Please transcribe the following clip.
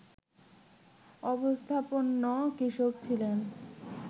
অবস্থাপন্ন কৃষক ছিলেন